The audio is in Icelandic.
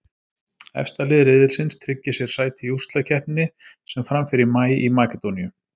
Efsta lið riðilsins tryggir sér sæti í úrslitakeppninni sem fram fer í maí í Makedóníu.